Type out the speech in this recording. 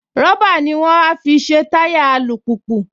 Rọ́bà ní wọ́n á fi ṣe táyà alùpùpù